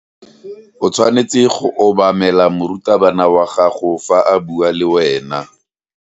O tshwanetse go obamela morutabana wa gago fa a bua le wena.